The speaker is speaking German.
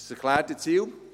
Das erklärte Ziel ist: